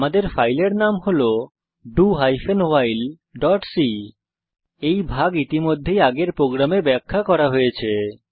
আমাদের ফাইলের নাম হল do hyphen while dot c এই ভাগ ইতিমধ্যেই আগের প্রোগ্রামে ব্যাখ্যা করা হয়েছে